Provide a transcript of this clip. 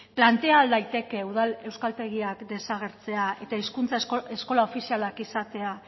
plantea ahal daiteke udal euskaltegiak desagertzea eta hizkuntza eskola ofizialak izatea